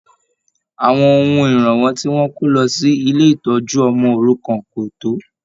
Àwọn ohun iranwọ ti wọn kò lọ sí ilé ìtọjú ọmọ òrukàn ko tó.